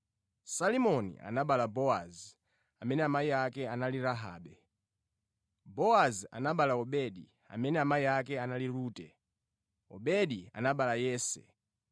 Salimoni anabereka Bowazi amene amayi ake anali Rahabe, Bowazi anabereka Obedi amene amayi ake anali Rute, Obedi anabereka Yese.